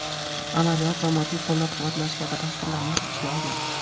amaliyot va moddiy qo‘llab-quvvatlash kabi dasturlarni o‘z ichiga olgan.